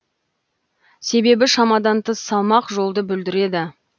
себебі шамадан тыс салмақ жолды бүлдіреді